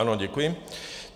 Ano, děkuji.